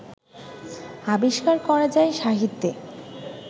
আবিষ্কার করা যায় সাহিত্যে